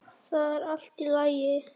Það er allt í lagi.